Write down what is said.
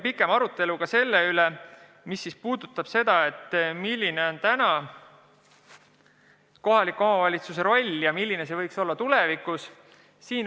Pikem arutelu oli ka selle üle, milline on kohaliku omavalitsuse roll praegu ja milline see võiks olla tulevikus.